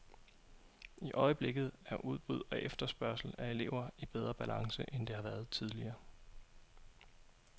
I øjeblikket er udbud og efterspørgsel af elever i bedre balance, end det har været tidligere.